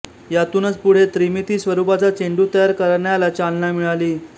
यातूनच पुढे त्रिमिती स्वरूपाचा चेंडू तयार करण्याला चालना मिळाली